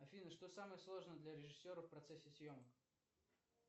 афина что самое сложное для режиссера в процессе съемок